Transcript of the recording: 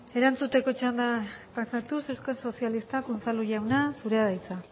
erantzuteko txandara pasatuz euskal sozialistak unzalu jauna zurea da hitza